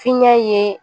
Fiɲɛ ye